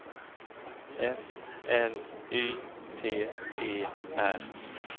F L Y T E R